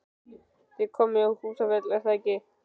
Þið komið í Húsafell, er það ekki?